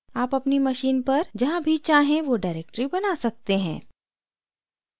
आप अपनी machine पर जहाँ भी चाहें वो directory बना सकते हैं